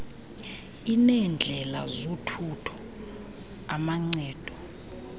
ineendlela zothutho amancedo